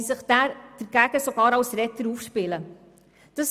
Sie spielen sich gar als Retter dagegen auf.